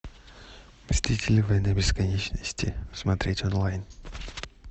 мстители войны бесконечности смотреть онлайн